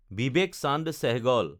Vivek Chand Sehgal